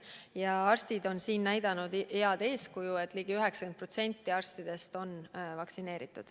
Ja arstid on siin näidanud head eeskuju – ligi 90% arstidest on vaktsineeritud.